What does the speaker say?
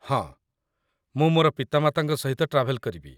ହଁ, ମୁଁ ମୋର ପିତାମାତାଙ୍କ ସହିତ ଟ୍ରାଭେଲ୍ କରିବି।